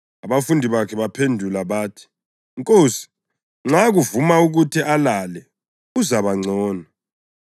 Abafundi bakhe baphendula bathi, “Nkosi, nxa kuvuma ukuthi alale, uzabangcono.”